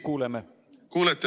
Kuulete?